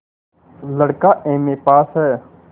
लड़का MA pass हैं